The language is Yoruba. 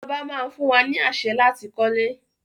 Ìjọba máa fún wa ni àṣẹ láti kọ́lé.